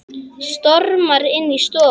Stormar inn í stofu.